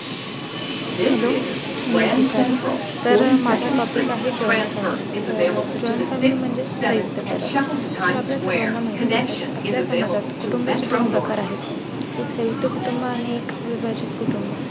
Hello मी दिशाली. तर माझा Topic आहे. Joint family तर Joint family म्हणजे संयुक्त बरं. तर आपल्या सर्वांना माहितच असेल. आपल्या समाजात कुटुंबा चे दोन प्रकार आहेत. एक संयुक्त कुटुंब आणि एक विभाजित कुटुंब.